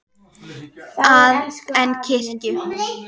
að en kirkju.